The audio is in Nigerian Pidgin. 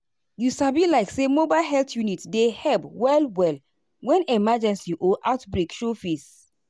you sabi like say mobile health unit dey help well-well when emergency or outbreak show face.